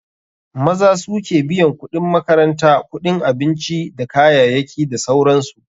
Maza suke biyan kuɗin makaranta, kuɗin abinci dakayayaki da sauransu.